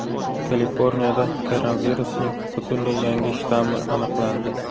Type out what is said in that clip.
Kaliforniyada koronavirusning butunlay yangi shtammi aniqlandi.